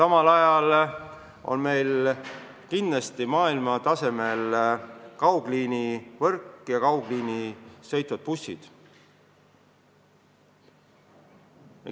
Meil on kindlasti maailmatasemel kaugliinivõrk ja kaugliine sõitvad bussid.